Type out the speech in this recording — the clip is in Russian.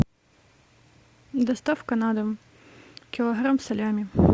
доставка на дом килограмм салями